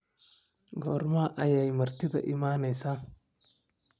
Goorma ayay martida imanaysaa?